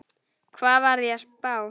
Hvað var ég að spá?